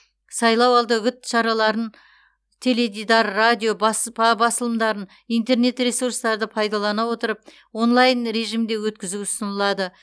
сайлау алды үгіт іс шараларын теледидар радио басылымдарын интернет ресурстарды пайдалана отырып онлайн режимде өткізу ұсынылады